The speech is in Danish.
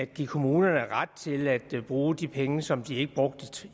give kommunerne ret til at bruge de penge som de ikke brugte